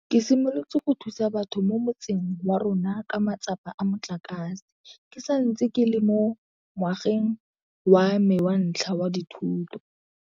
Ke simolotse go thusa batho mo motseng wa rona ka matsapa a motlakase ke santse ke le mo ngwageng wa me wa ntlha wa dithuto.